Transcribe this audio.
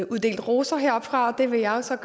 uddelt roser heroppefra og det vil jeg så